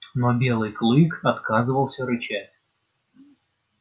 но белый клык отказывался рычать